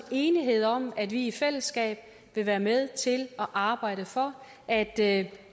enighed om at vi i fællesskab vil være med til at arbejde for at at